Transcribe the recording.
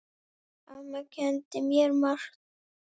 Amma kenndi mér margt.